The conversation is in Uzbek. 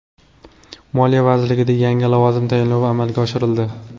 Moliya vazirligida yangi lavozim tayinlovi amalga oshirildi.